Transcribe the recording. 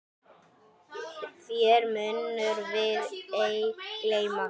Þér munum við ei gleyma.